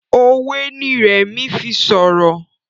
òwe ní Remi fí sọrọ.